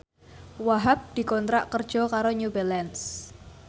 Wahhab dikontrak kerja karo New Balance